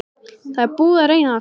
Það er búið að reyna allt.